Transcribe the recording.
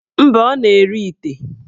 Mba, ọ na-ere ite.